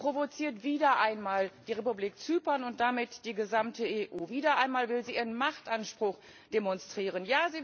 Sie provoziert wieder einmal die Republik Zypern und damit die gesamte Europäische Union. Wieder einmal will sie ihren Machtanspruch demonstrieren.